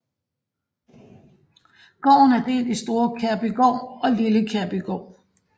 Gården er delt i Store Kærbygård og Lille Kærbygård